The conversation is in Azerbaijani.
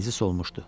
Bənizi solmuşdu.